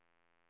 Rut Molin